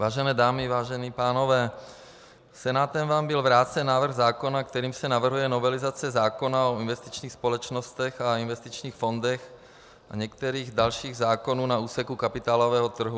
Vážené dámy, vážení pánové, Senátem vám byl vrácen návrh zákona, kterým se navrhuje novelizace zákona o investičních společnostech a investičních fondech a některých dalších zákonů na úseku kapitálového trhu.